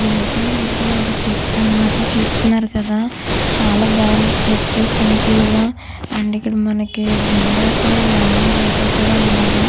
ఇదైతే మనకి ఒక చర్చి అనమాట చూస్తున్నారు కదా చాలా బాగుంది చర్చి సింపుల్ గా అండ్ ఇక్కడ జనం అయితే లోనా బయట కూడా ఉన్నారు.